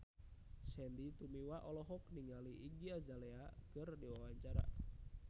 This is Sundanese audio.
Sandy Tumiwa olohok ningali Iggy Azalea keur diwawancara